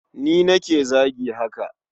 Ni nake zagi haka.